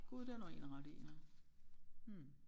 Gud det har du egentlig ret i ja hm